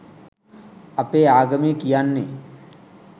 අපේ ආගමේ කියන්නේ